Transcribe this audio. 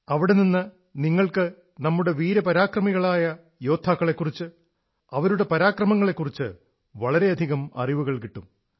അവിടെ നിന്ന് നിങ്ങൾക്ക് നമ്മുടെ വീര പരമാക്രമികളായ യോദ്ധാക്കളെക്കുറിച്ച് അവരുടെ പരാക്രമങ്ങളെക്കുറിച്ച് വളരെയധികം അറിവുകൾ കിട്ടും